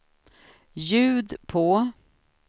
ljud på